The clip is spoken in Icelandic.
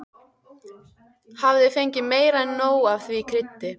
Hafði fengið meira en nóg af því kryddi.